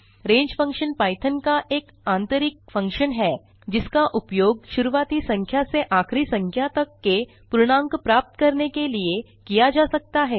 रंगे function Python का एक आतंरिक फंक्शन है जिसका उपयोग शुरूआती संख्या से आखिरी संख्या तक के पूर्णांक प्राप्त करने के लिए किया जा सकता है